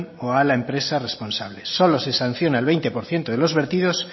o a la empresa responsables solo se sanciona el veinte por ciento de los vertidos